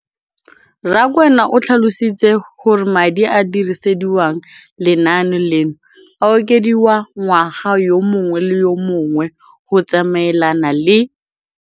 Rakwena o tlhalositse gore madi a a dirisediwang lenaane leno a okediwa ngwaga yo mongwe le yo mongwe go tsamaelana le